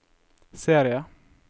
serie